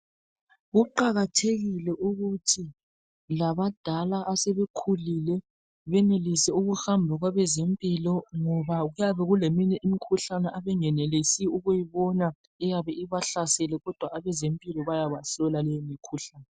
Kuqakathekile ukuthi labadala asebekhulile benelise ukuhamba kwabezempilo, ngoba kuyabe kuleminye imikhuhlane abengenelisi ukuyibona eyabe ibahlasele, kodwa abezempilo bayabahlola leyo mikhuhlane.